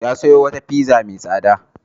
Ya sayo wata pizza mai tsada.